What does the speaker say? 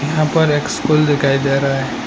यहां पर एक स्कूल दिखाई दे रहा है।